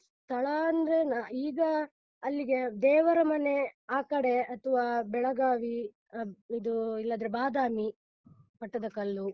ಸ್ಥಳ ಅಂದ್ರೆ, ನ ಈಗ ಅಲ್ಲಿಗೆ ದೇವರ ಮನೆ ಆಕಡೆ ಅಥ್ವ ಬೆಳಗಾವಿ ಆ ಇದೂ ಇಲ್ಲದ್ರೆ ಬಾದಾಮಿ, ಪಟ್ಟದಕಲ್ಲು.